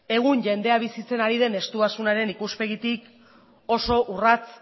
egun jendea bizitzen ari den estuasunaren ikuspegitik oso urrats